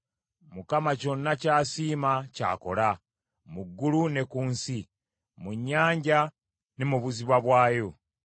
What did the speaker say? Mukama kyonna ky’asiima ky’akola, mu ggulu ne ku nsi; mu nnyanja ne mu buziba bwayo.